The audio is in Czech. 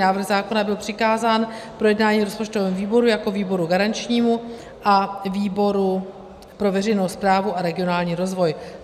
Návrh zákona byl přikázán k projednání rozpočtovému výboru jako výboru garančnímu a výboru pro veřejnou správu a regionální rozvoj.